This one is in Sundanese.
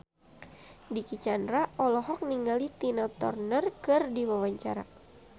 Dicky Chandra olohok ningali Tina Turner keur diwawancara